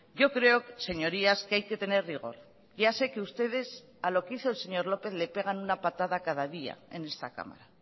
yo creo señorías que hay que tener rigor ya sé que ustedes a lo que hizo el señor lópez le pegan una patada cada día en esta cámara